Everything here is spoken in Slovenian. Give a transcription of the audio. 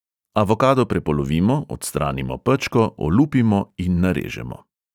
Avokado prepolovimo, odstranimo pečko, olupimo in narežemo.